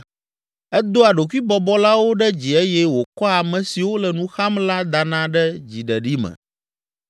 Edoa ɖokuibɔbɔlawo ɖe dzi eye wòkɔa ame siwo le nu xam la dana ɖe dziɖeɖi me.